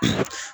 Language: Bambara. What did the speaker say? Unhun